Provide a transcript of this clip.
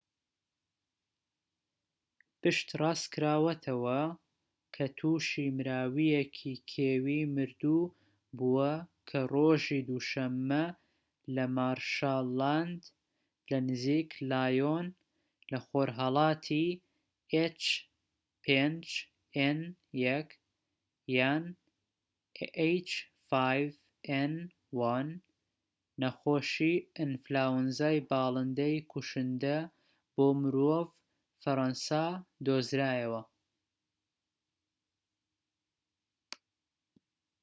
نەخۆشی ئەنفلۆنزای باڵندەی کوشندە بۆ مرۆڤ، h5n1؛ پشتڕاستکراوەتەوە کە تووشی مراوییەکی کێوی مردوو بووە کە ڕۆژی دووشەممە لەمارشلاند لەنزیک لایۆن لەخۆرهەڵاتی فەرەنسا دۆزرایەوە